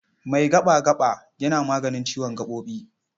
Mai gaɓa-gaɓa yana maganin ciwon gaɓoɓi.